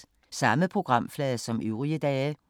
Samme programflade som øvrige dage